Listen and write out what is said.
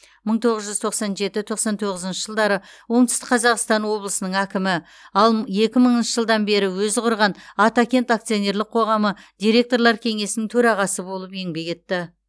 мың тоғыз жүз тоқсан жеті тоқсан тоғызыншы жылдары оңтүстік қазақстан облысының әкімі ал екі мыңыншы жылдан бері өзі құрған атакент акционерлік қоғамы директорлар кеңесінің төрағасы болып еңбек етті